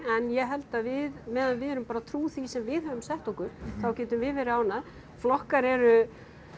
en ég held að við meðan við erum bara trú því sem við höfum sett okkur þá getum við verið ánægð flokkar eru